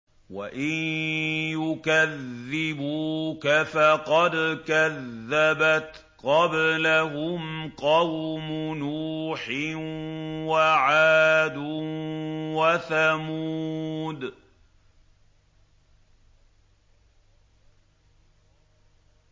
وَإِن يُكَذِّبُوكَ فَقَدْ كَذَّبَتْ قَبْلَهُمْ قَوْمُ نُوحٍ وَعَادٌ وَثَمُودُ